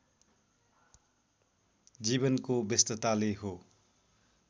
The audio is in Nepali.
जीवनको व्यस्तताले हो